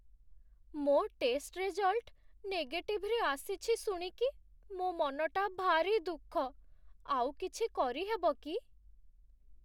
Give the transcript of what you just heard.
ମୋ' test result ନେଗେଟିଭରେ ଆସିଛି ଶୁଣିକି ମୋ' ମନଟା ଭାରି ଦୁଃଖ । ଆଉ କିଛି କରିହେବ କି?